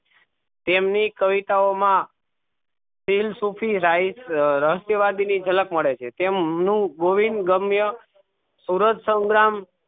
તેમની કવિતાઓ માં સુફી રાય ની જ્હાલ્ક મળે છે તેમનું ગોવિંદ ગમ્ય સુરત સંગ્રામ